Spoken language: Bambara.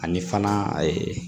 Ani fana ee